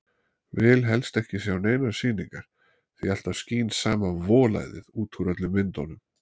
Vil helst ekki sjá neinar sýningar, því alltaf skín sama volæðið út úr öllum myndunum.